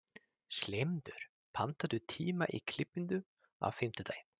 slefmundur, pantaðu tíma í klippingu á fimmtudaginn.